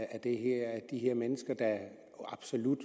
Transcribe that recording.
de her mennesker der absolut